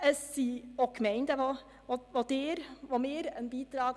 Wir verlangen auch von den Gemeinden einen Beitrag.